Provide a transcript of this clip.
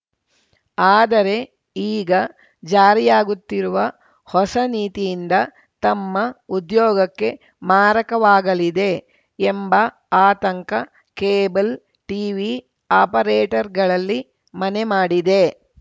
ಆದರೆ ಈಗ ಜಾರಿಯಾಗುತ್ತಿರುವ ಹೊಸ ನೀತಿಯಿಂದ ತಮ್ಮ ಉದ್ಯೋಗಕ್ಕೆ ಮಾರಕವಾಗಲಿದೆ ಎಂಬ ಆಂತಕ ಕೇಬಲ್‌ ಟೀವಿ ಆಪರೇಟರ್‌ಗಳಲ್ಲಿ ಮನೆ ಮಾಡಿದೆ